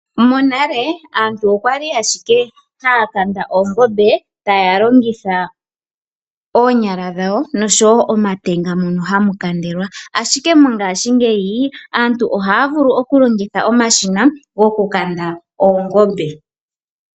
Monale aantu okwali ashike haya kanda oongombe taya logitha oonyala dhawo noshowo omatenga mono hamu kandelwa, ashike mongaashingeyi aantu ohaya vulu oku longitha omashina goku kanda oongombe.